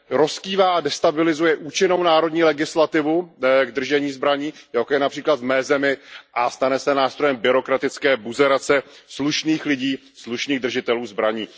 rozkývá, destabilizuje účinnou národní legislativu k držení zbraní, jako je například v mé zemi, a stane se nástrojem byrokratické buzerace slušných lidí, slušných držitelů zbraní.